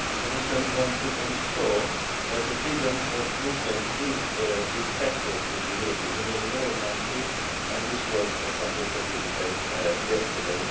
migration. The Commission wants to ensure that freedom of movement is respected in the European Union in all countries, and this was a subject of the debate